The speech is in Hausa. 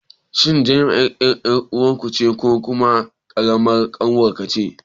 Shin Najma ƴar ɗan uwanka ce ko kuma ƙaramar ƙanwarka?